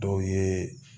Dɔw ye